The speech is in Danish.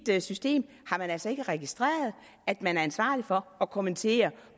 mit system har man altså ikke registreret at man er ansvarlig for at kommentere